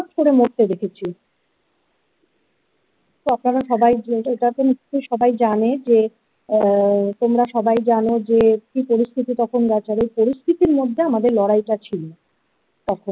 ছটফট করে মরতে দেখেছ তো আপনারা সবাই এটা তো নিশ্চয়ই সবাই জানে যে আ তোমরা সবাই জানো যে কি পরিস্থিতি তখন বেচার এই পরিস্থিতির মধ্যে আমাদের লড়াইটা ছিল তখন।